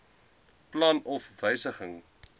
plan of wysiging